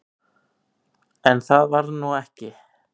En það varð nú ekki.